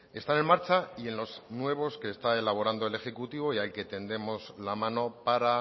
están en marcha y en los nuevos que está elaborando el ejecutivo y al que tendemos la mano para